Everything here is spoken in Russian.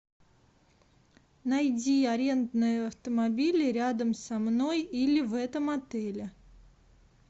найди арендные автомобили рядом со мной или в этом отеле